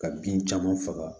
Ka bin caman faga